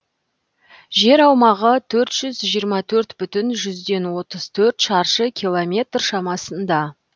жер аумағы төрт жүз жиырма төрт бүтін жүзден отыз төрт шаршы километр шамасында